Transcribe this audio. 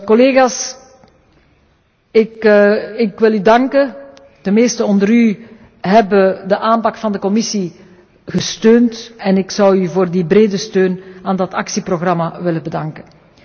Collega's, ik wil u danken. De meesten onder u hebben de aanpak van de Commissie gesteund en ik zou u voor die brede steun aan dat actieprogramma willen bedanken.